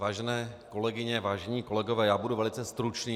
Vážené kolegyně, vážení kolegové, já budu velice stručný.